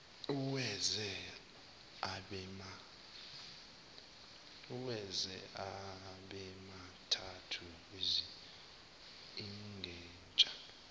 uwenze abemathathu isignesha